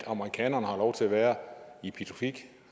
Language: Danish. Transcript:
amerikanerne har lov til at være i pituffik